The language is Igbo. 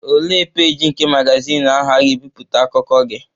Olee peeji nke magazin ahụ a ga-ebipụta akụkọ gị?